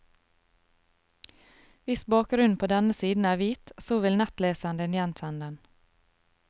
Hvis bakgrunnen på denne siden er hvit, så vil nettleseren din gjenkjenne den.